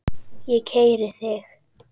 Ég keyri þig!